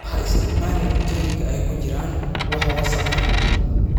Ha isticmaalin cuntooyinka ay ku jiraan wax wasakh ah.